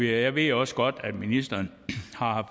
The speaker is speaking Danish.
jeg ved også godt at ministeren har